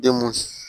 Denmuso